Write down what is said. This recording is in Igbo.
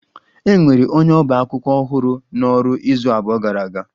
E nwere onye ọba akwụkwọ ọhụrụ n'ọrụ izu abụọ gara aga